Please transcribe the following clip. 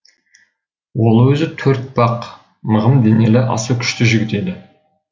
ол өзі төртпақ мығым денелі аса күшті жігіт еді